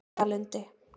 Baugalundi